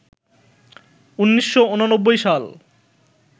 ১৯৮৯ সাল